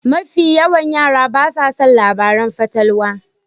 Mafi yawan yara basa son labaran fatalwa.